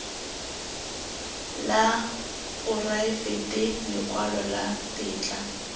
la poraefete lekwalo la tetla